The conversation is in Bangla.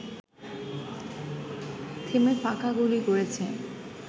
থেমে ফাঁকা গুলি করেছে